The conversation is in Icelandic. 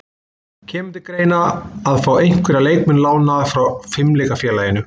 Kemur til greina að fá einhverja leikmenn lánaða frá Fimleikafélaginu?